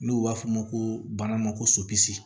N'u b'a f'o ma ko bana ma ko sɔpisi